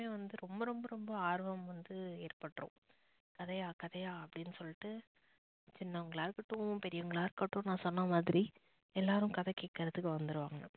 வந்து ரொம்ப ரொம்ப ரொம்ப ஆர்வம் வந்து ஏற்பட்டுறும் கதையா கதையா அப்படின்னு சொல்லிட்டு சின்னவங்களா இருக்கடோம், பெரியவங்களா இருக்கடோம் நா சொன்ன மாதிரி எல்லாரும் கதை கேக்குறதுக்கு வந்துடுவாங்க.